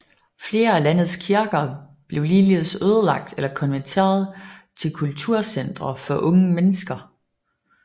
Flere af landets kirker blev ligeledes ødelagt eller konverteret til kulturcentre for unge mennesker